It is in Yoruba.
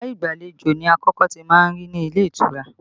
Yàrá ìgbàlejò ni àkọ́kọ́ tí a má ń rí ní ilé ìtura